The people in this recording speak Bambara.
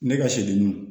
Ne ka sɛdenninw